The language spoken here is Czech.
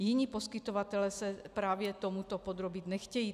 Jiní poskytovatelé se právě tomuto podrobit nechtějí.